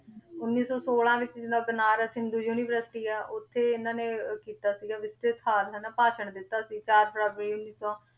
ਉੱਨੀ ਸੌ ਛੋਲਾਂ ਵਿੱਚ ਜਿੱਦਾਂ ਬਨਾਰਸ ਹਿੰਦੂ university ਆ ਉੱਥੇ ਇਹਨਾਂ ਨੇ ਕੀਤਾ ਸੀਗਾ ਵਿਸਤ੍ਰਿਤ ਸਾਰ ਹਨਾ ਭਾਸ਼ਣ ਦਿੱਤਾ ਸੀ, ਚਾਰ ਫਰਵਰੀ ਉੱਨੀ ਸੌ,